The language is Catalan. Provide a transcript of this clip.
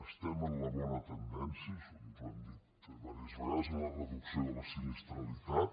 estem en la bona tendència això ens ho han dit diverses vegades en la reducció de la sinistralitat